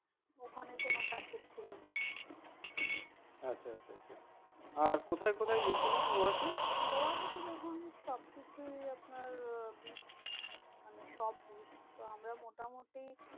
ওখানে কোনো package ছিল না। আচ্ছা আচ্ছা আচ্ছা আর কোথায় কোথায় গিয়েছিলেন গোয়াতে? গোয়াতে তো দেখুন সবকিছুই আপনার আহ beach মানে সব beach তো আমরা মোটামুটি